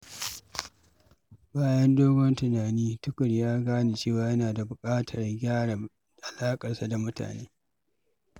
Bayan wani dogon tunani, Tukur ya gane cewa yana buƙatar gyara alaƙarsa da mutane.